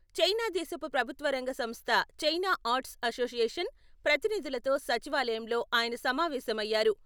China దేశపు ప్రభుత్వరంగ సంస్థ చైనా ఆర్ట్స్ అసోసియేషన్ ప్రతినిధులతో సచివాలయంలో ఆయన సమావేశమయ్యారు.